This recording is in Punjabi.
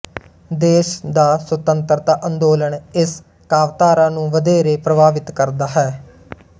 ਦੇਸ਼ ਦਾ ਸੁਤੰਤਰਤਾ ਅੰਦੋਲਨ ਇਸ ਕਾਵਿਧਾਰਾ ਨੂੰ ਵਧੇਰੇ ਪ੍ਰਭਾਵਿਤ ਕਰਦਾ ਹੈ